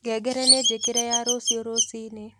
ngengere ni njĩkĩre ya rũcĩũ rũcĩĩnĩ